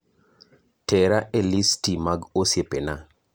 Tera e listi mag osiepena